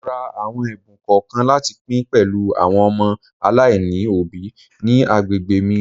Mo ra àwọn ẹ̀bùn kọ̀ọ̀kan láti pín pẹ̀lú àwọn ọmọ aláìní òbí ní agbègbè mi.